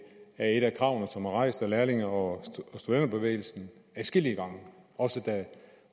er et af kravene som rejst af lærlinge og studenterbevægelsen adskillige gange også da